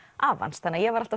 afa hans þannig að ég var alltaf